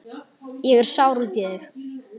Ég er sár út í þig.